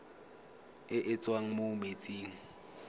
e e tswang mo metsing